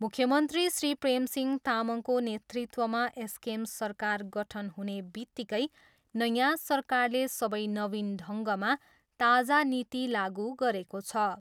मुख्यमन्त्री श्री प्रेमसिंह तामाङको नेतृत्वमा एसकेएम सरकार गठन हुने वित्तिकै नयाँ सरकारले खुबै नवीन ढङ्गमा ताजा नीति लागु गरेको छ।